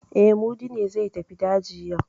E, Mudi ne zai tafi daji yau.